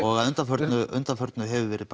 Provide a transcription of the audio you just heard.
og að undanförnu undanförnu hefur verið